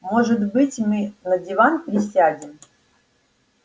может быть мы на диван присядем